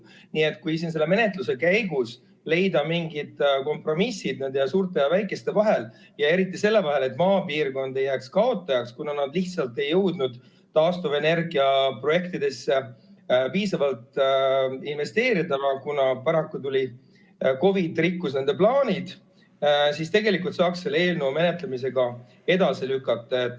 Nii et kui siin selle menetluse käigus leida mingid kompromissid suurte ja väikeste vahel ja eriti selle vahel, et maapiirkonnad ei jääks kaotajaks, kuna nad lihtsalt ei jõudnud taastuvenergia projektidesse piisavalt investeerida, kuna paraku tuli COVID ja rikkus nende plaanid, siis tegelikult saaks selle eelnõu menetlemise ka edasi lükata.